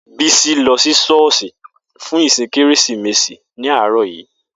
Bisi lọ sí ṣọ́ọ̀ṣì fún ìsìn Kérésìmesì ní àárọ̀ yìí.